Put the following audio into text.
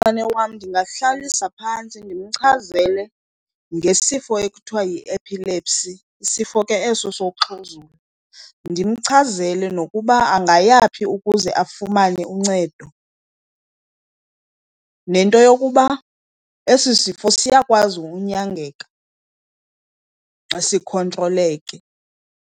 wam ndingamhlalisa phantsi ndimchazele ngesifo ekuthiwa yi-epilepsy, sifo ke eso sokuxhuzula. Ndimchazele nokuba angayaphi ukuze afumane uncedo, nento yokuba esi sifo siyakwazi unyangeka xa sikhotroleke.